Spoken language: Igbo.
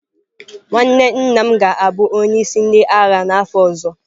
Nwanne nna m ga-abụ onye isi ndị agha n'afọ ọzọ.